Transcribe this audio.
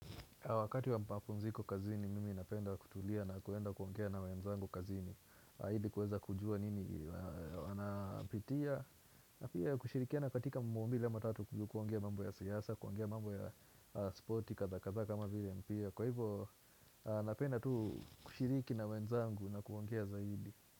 Wakati wa mapunziko kazini, mimi napenda kutulia na kuenda kuongea na wenzangu kazini. Haidi kuweza kujua nini wanapitia. Na pia kushirikiana katika mambo mbili ama matatu juu kuongea mambo ya siasa, kuongea mambo ya spoti kadhaa kadhaa kama vile mpira. Kwa hivyo, napenda tu kushiriki na wenzangu na kuongea zaidi.